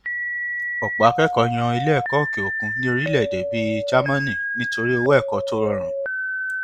ọpọ akẹkọọ yàn iléẹkọ òkè òkun ní orílẹèdè bíi jámánì nítorí owó ẹkọ tó rọrùn